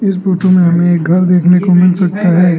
इस फोटो में हमें एक घर देखने को मिल सकता है।